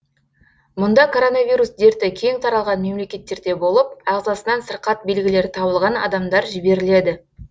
мұнда коронавирус дерті кең таралған мемлекеттерде болып ағзасынан сырқат белгілері табылған адамдар жіберіледі